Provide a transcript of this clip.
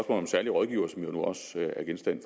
om særlige rådgivere som jo nu også er genstand